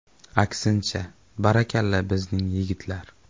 Aksincha, barakalla, bizning yigitlar.